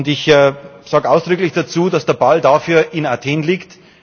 Ich sage ausdrücklich dazu, dass der Ball dafür in Athen liegt.